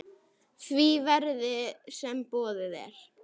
því verði, sem boðið er.